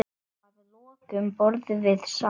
Að lokum borðum við saman.